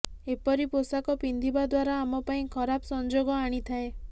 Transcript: ଏପରି ପୋଷାକ ପିନ୍ଧିବା ଦ୍ୱାରା ଆମ ପାଇଁ ଖରାପ ସଂଯୋଗ ଆଣିଥାଏ